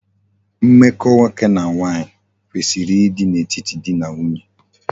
Mmeko nwoke na nwanyi kwesiri di n'etiti dị na nwunye.